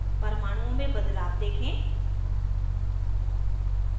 परमाणुओं में बदलाव देखें